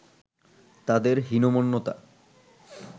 তাদের হীনমন্যতা